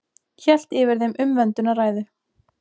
Hélt yfir þeim umvöndunarræður.